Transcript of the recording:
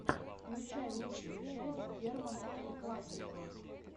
включай лучшую часть германа эль классико